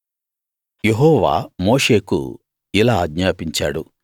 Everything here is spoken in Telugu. యెహోవా మోషేకు ఇలా ఆజ్ఞాపించాడు